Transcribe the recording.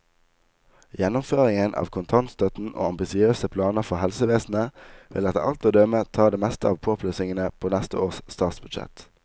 Gjennomføringen av kontantstøtten og ambisiøse planer for helsevesenet, vil etter alt å dømme ta det meste av påplussingene på neste års statsbudsjett.